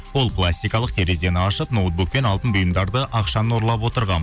ол пластикалық терезені ашып ноутбук пен алтын бұйымдарды ақшаны ұрлап отырған